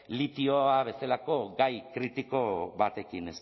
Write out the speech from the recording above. litio bezalako gai kritiko batekin